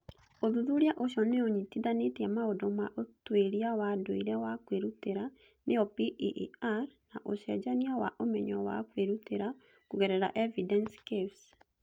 Ũthuthuria ũcio nĩ ũnyitithanĩtie maũndũ ma ũtuĩria wa ndũire wa kwĩrutĩra (PEER) na ũcenjania wa ũmenyo wa kwĩrutĩra kũgerera Evidence Cafés.